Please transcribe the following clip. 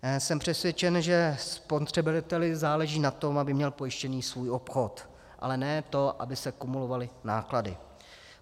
Jsem přesvědčen, že spotřebiteli záleží na tom, aby měl pojištěný svůj obchod, ale ne to, aby se kumulovaly náklady.